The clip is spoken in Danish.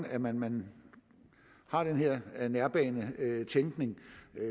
at man man har den her nærbanetænkning